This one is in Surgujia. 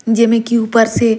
जेमें की ऊपर से--